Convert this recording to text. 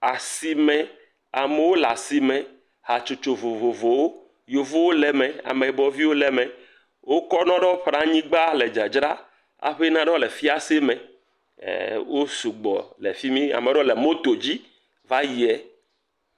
Asime, amewo le asime, hatsotso vovovowo, yevuwo le me, ameyibɔ viwo le me, wokɔ nua ɖewo ƒo ɖe anyigba le dzadzram aƒe naɖewo le fiase me, ee wo sugbɔle fi mi, ame ɖewɔ le moto dzi va yie.